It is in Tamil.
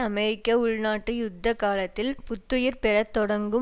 அமெரிக்க உள் நாட்டு யுத்த காலத்தில் புத்துயிர் பெற தொடங்கும்